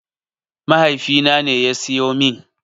Mahaifina ne ya siyo min.